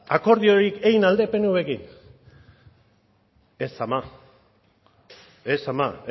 akordiorik egin al duk pnvrekin ez ama ez ama